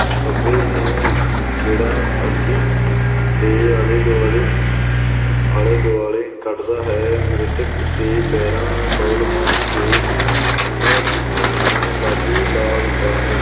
ਖੱਬੇ ਨੂੰ ਇੱਕ ਗੇੜਾ ਦੇ ਆਲੇ ਦੁਆਲੇ, ਆਲੇ ਦੁਆਲੇ ਕੱਢਦਾ ਹੈ, ਮ੍ਰਿਤਕ ਦੇ ਪੈਰਾਂ ਕੋਲ ਪਹੁੰਚ ਕੇ ਉਹਨਾਂ ਨੂੰ ਲਾ ਦਿੰਦਾ ਹੈ।